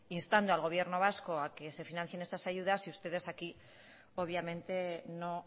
instando al gobierno vasco a que se financien esas ayudas y ustedes aquí obviamente no